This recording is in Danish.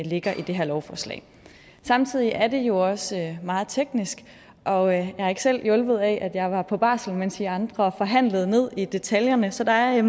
ligger i det her lovforslag samtidig er det jo også meget teknisk og jeg er ikke selv hjulpet af at jeg var på barsel mens i andre forhandlede ned i detaljerne så der er